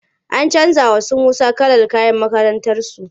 An canja wa su Musa kalar kayan makakrantarsu.